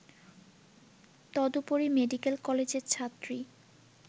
তদুপরি মেডিকেল কলেজের ছাত্রী